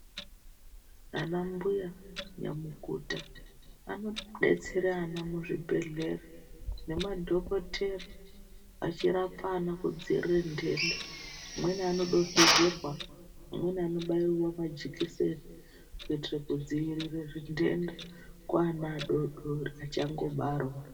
Ana mbuya nyamukuta anodetsera ana muzvibhehlera nemadhokotera achirapa ana kudziirira ntenda. Amweni anodonhedzerwa, amweni anobaiwa majekiseni kuitire kudzivirire zvitenda kuana adodori achangobarwa.